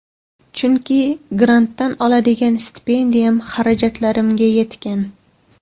Chunki grantdan oladigan stipendiyam xarajatlarimga yetgan.